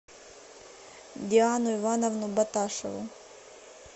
диану ивановну боташеву